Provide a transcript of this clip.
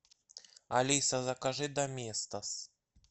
алиса закажи доместос